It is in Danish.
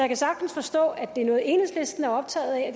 kan sagtens forstå at det er noget enhedslisten er optaget af